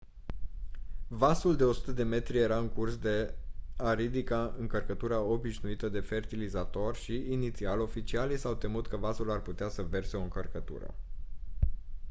vasul de 100 de metri era în curs de a ridica încărcătura obișnuită de fertilizator și inițial oficialii s-au temut că vasul ar putea să verse o încărcătură